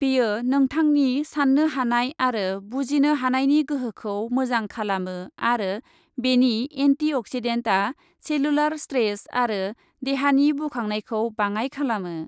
बेयो नोंथांनि साननो हानाय आरो बुजिनो हानायनि गोहोखौ मोजां खालामो आरो बेनि एन्टी अक्सिडेन्टआ सेलुलार स्ट्रेस आरो देहानि बुखांनायखौ बाङाय खालामो।